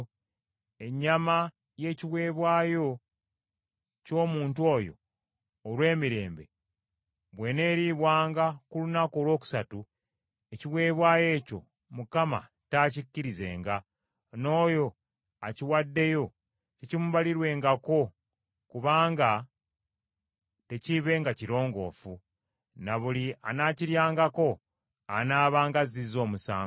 Ennyama y’ekiweebwayo ky’omuntu oyo olw’emirembe bw’eneeriibwanga ku lunaku olwokusatu, ekiweebwayo ekyo Mukama taakikkirizenga, n’oyo akiwaddeyo tekiimubalirwengako kubanga tekiibenga kirongoofu, ne buli anaakiryangako anaabanga azzizza omusango.